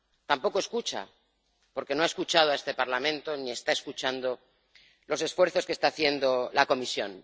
Tampoco escucha, porque no ha escuchado a este Parlamento, ni está escuchando los esfuerzos que está haciendo la Comisión.